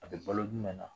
A bɛ balo jumɛn na